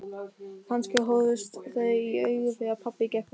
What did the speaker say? Kannski horfðust þau í augu þegar pabbi gekk út.